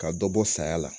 Ka dɔ bɔ bɔ saya la